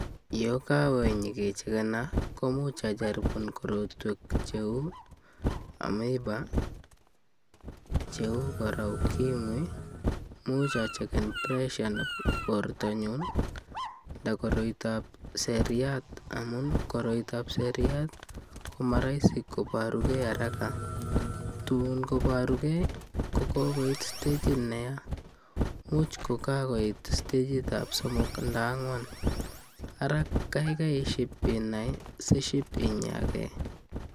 Yo kawe inyegechegena, komuch ajaribunan korotwek cheu amoeba, cheu kora ukimwi. Imuch achegen pressure nebo bortanyun anda ko koiroitab seriat amun koroitab seriat ko maraisi kobarugei haraka. Tun koborugei ko kogoit stagit neya, imuch ko kagoit stagitab somok anda angwan. Ara kaigai iship inai siship inyage.